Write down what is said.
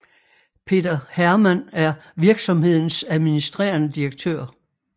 Peter Hermann er virksomhedens administrerende direktør